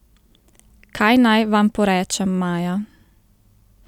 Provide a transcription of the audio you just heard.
Kaj naj Vam porečem, Maja?